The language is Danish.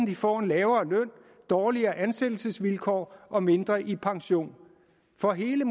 de får en lavere løn dårligere ansættelsesvilkår og mindre i pension for hele